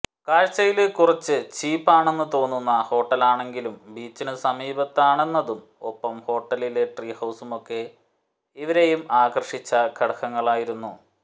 കാഴ്ച്ചയില് കുറച്ചു ചീപ് ആണെന്നു തോന്നുന്ന ഹോട്ടലാണെങ്കിലും ബീച്ചിനു സമീപമാണെന്നതും ഒപ്പം ഹോട്ടടിലെ ട്രീ ഹൌസുമൊക്കെ ഇരുവരെയും ആകര്ഷിച്ച ഘടകങ്ങളായിരുന്നു